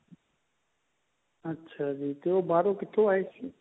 ਅੱਛਾ ਜੀ ਤੇ ਉਹ ਬਾਹਰੋਂ ਕਿੱਥੋਂ ਆਏ ਸੀ